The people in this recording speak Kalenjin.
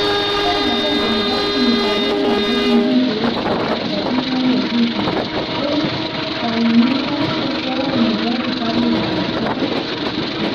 Kwony agenge nepoo diniit ap Islam nekikuree Jabin Ahmed Ruhii koip kangunyngunyet eng Soet nepoo kitabuut ap tokoch